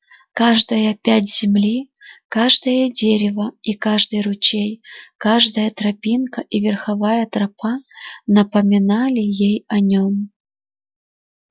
каждая пядь земли каждое дерево и каждый ручей каждая тропинка и верховая тропа напоминали ей о нём